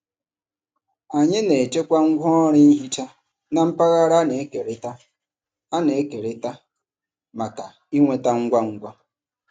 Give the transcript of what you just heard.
Anyị na-echekwa ngwaọrụ ihicha na mpaghara a na-ekerịta a na-ekerịta maka ịnweta ngwa ngwa.